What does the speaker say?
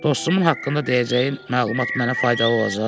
Dostumun haqqında deyəcəyin məlumat mənə faydalı olacaq?